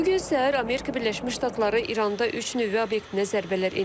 Bu gün səhər Amerika Birləşmiş Ştatları İranda üç nüvə obyektinə zərbələr endirib.